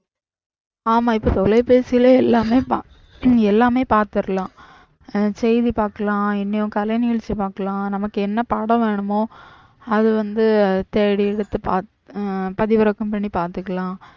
ஆமா இப்ப தொலைபேசில எல்லாமே எல்லாமே பாத்துறலாம் செய்தி பாக்கலாம் எங்கேயும் கலை நிகழ்ச்சி பாக்கலாம் நமக்கு என்ன பாடம் வேனுமோ அது வந்து தேடி எடுத்து பாத்து பதிவிறக்கம் பண்ணி பாத்துக்கலாம்